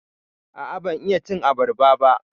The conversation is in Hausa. A'a, ban iya cin abarba ba.